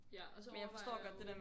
Ja og så overvejer jeg jo